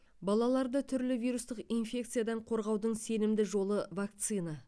балаларды түрлі вирустық инфекциядан қорғаудың сенімді жолы вакцина